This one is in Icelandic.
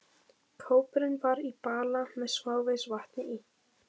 Kópurinn var í bala með smávegis vatni í.